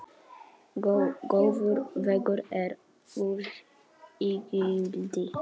Góður vegur er gulls ígildi.